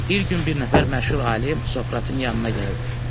Bir gün bir nəfər məşhur alim Sokratın yanına gəldi.